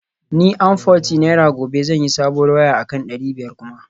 Ni amforty naira gobe zan sayi sabuwar waya akan dari biyar kuma